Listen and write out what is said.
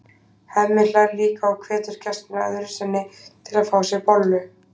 Hemmi hlær líka og hvetur gestina öðru sinni til að fá sér bollu.